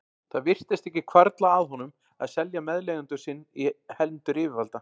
Það virtist ekki hvarfla að honum að selja meðleigjanda sinn í hendur yfirvalda.